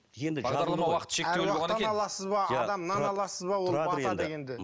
енді бағдарлама уақыты шектеулі болғаннан кейін аруақтан аласыз ба адамнан аласыз ба ол бата дегенді